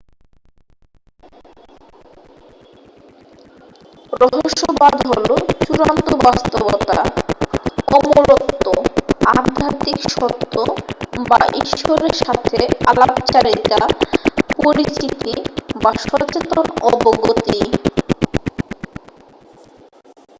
রহস্যবাদ হল চূড়ান্ত বাস্তবতা অমরত্ব আধ্যাত্মিক সত্য বা ঈশ্বরের সাথে আলাপচারিতা পরিচিতি বা সচেতন অবগতি